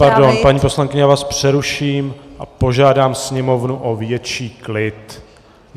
Pardon, paní poslankyně, já vás přeruším a požádám sněmovnu o větší klid.